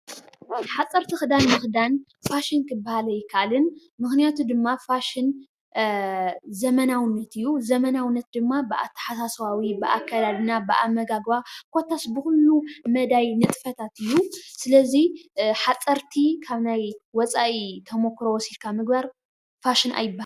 ሓፀርቲ ኽዳን ምኽዳን ፋሽን ክበሃል አይከኣልን። ምኽንያቱ ድማ ፋሽን ዘመናውነት እዩ። ዘመናውነት ድማ ብኣተሓሳስባዊ ፣ ብኣከዳድና ፣ ብኣመጋግባ ፣ ኮታስ ብኹሉ መዳይ ንጥፈታት እዩ። ስለዚ ሓፀርቲ ካብ ናይ ወፃኢ ተሞክሮ ወሲድካ ምግባር ፋሽን አይባሃልን ።